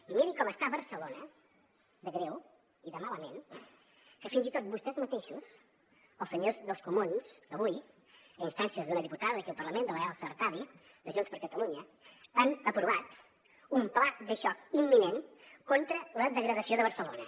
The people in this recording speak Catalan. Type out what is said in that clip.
i miri com està barcelona de greu i de malament que fins i tot vostès mateixos els senyors dels comuns avui i a instàncies d’una diputada d’aquí del parlament de l’elsa artadi de junts per catalunya han aprovat un pla de xoc imminent contra la degradació de barcelona